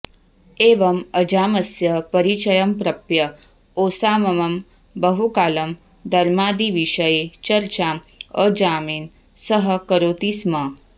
एवम् अजामस्य परिचयं प्रप्य ओसाममः बहुकालं धर्मादिविषये चर्चाम् अजामेन सह करोति स्म